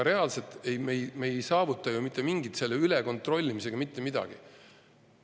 Reaalselt ei saavuta me selle ülekontrollimisega ju mitte midagi.